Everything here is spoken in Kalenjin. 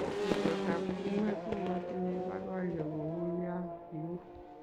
tuisotab tumwek ko matinye boiboiyo kou ya kiu